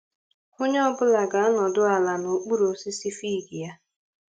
Onye ọ bụla ga-anọdụ ala n'okpuru osisi fig ya